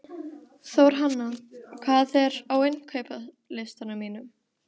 Þórhanna, hvað er á innkaupalistanum mínum?